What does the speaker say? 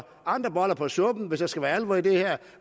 andre boller på suppen hvis der skal være alvor i det her